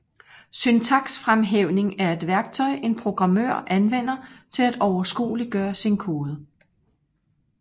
Syntaksfremhævning er et værktøj en programmør anvender til at overskueliggøre sin kode